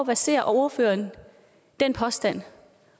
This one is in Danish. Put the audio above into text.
baserer ordføreren den påstand